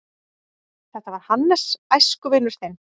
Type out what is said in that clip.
Þetta var Hannes, æskuvinur þinn.